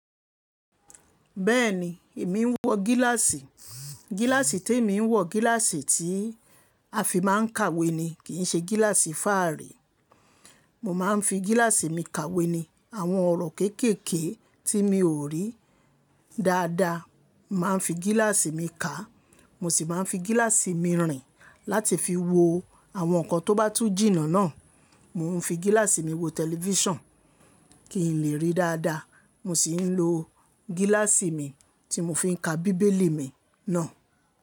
Bẹ́ẹ̀ni, èmi ń wọ gíláàsì. Gíláàsì tí èmi ń wọ, gíláàsì tí a fi máa ń kàwé ni, kìi ṣe gíláàsì fáàrí. Mo máa ń fi gíláàsì mi kàwé ni. Àwọn ọ̀rọ̀ kéékèèké tí mi ò rí dáadáa, màá ń fi gíláàsì mi kàá, mo sì máa ń fi gíláàsì mi rìn láti fi wo àwọn nǹkan tó bá tú jìnnà náà. Mo ń fi gíláàsì mi wo tẹlifíṣàn kín lè rí dáadáa, mo sì ń lo gíláàsì mi tí mo fiń ka bíbélì mi ná.